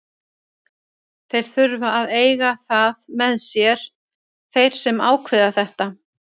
Þeir þurfa að eiga það með sér, þeir sem ákveða þetta.